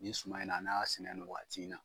Nin suma in na n'a y'a sɛnɛ nin wagati in na